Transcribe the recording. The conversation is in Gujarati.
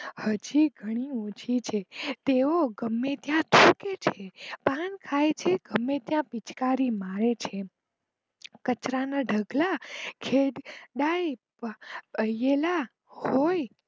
હજી ઘણી ઓછી છે તેવો ગમે ત્યાં થુંકે છે પાન ખાય છે ગમે ત્યાં પીચકારી મારે છે કચરા ના ઢગલા ખેડેલા હોય.